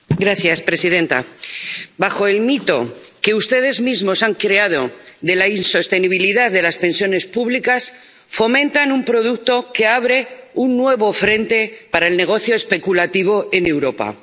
Señora presidenta, bajo el mito —que ustedes mismos han creado— de la insostenibilidad de las pensiones públicas, fomentan un producto que abre un nuevo frente para el negocio especulativo en Europa.